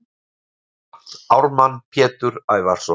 Fullt nafn: Ármann Pétur Ævarsson